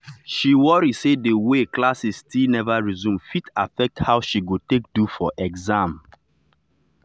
she worry say the way classes still never resume fit affect how she go take do for exam